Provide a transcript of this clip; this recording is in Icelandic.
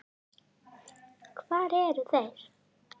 Hvað eru þeir?